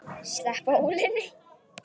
Sleppa ólinni.